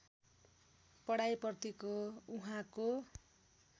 पढाइ प्रतिको उहाँको